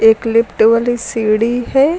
इक लिफ्ट वाली सीढ़ी है।